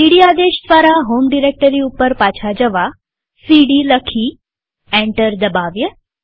સીડી આદેશ દ્વારા home directory ઉપર પાછા જવા સીડી લખી અને એન્ટર દબાવીએ